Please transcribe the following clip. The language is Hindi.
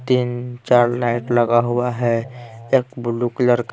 तीन चार लाइट लगा हुआ है एक ब्लू कलर --